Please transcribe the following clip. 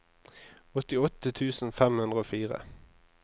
åttiåtte tusen fem hundre og fire